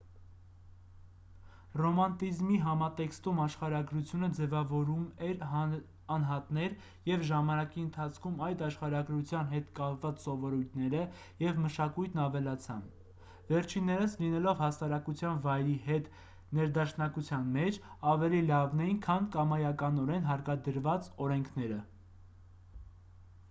ռոմանտիզմի համատեքստում աշխարհագրությունը ձևավորում էր անհատներ և ժամանակի ընթացքում այդ աշխարհագրության հետ կապված սովորույթները և մշակույթն ավելացան վերջիններս լինելով հասարակության վայրի հետ ներդաշնակության մեջ ավելի լավն էին քան կամայականորեն հարկադրված օրենքները